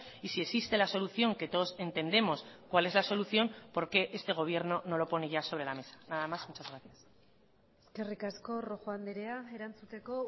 y si existe la solución que todos entendemos cuál es la solución por qué este gobierno no lo pone ya sobre la mesa nada más muchas gracias eskerrik asko rojo andrea erantzuteko